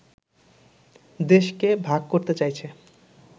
দেশকে ভাগ করতে চাইছে